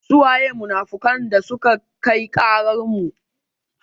Su waye munafukan dasuka kai ƙarar mu?